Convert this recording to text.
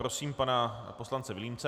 Prosím pana poslance Vilímce.